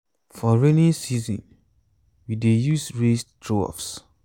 for rainy season we dey use raised troughs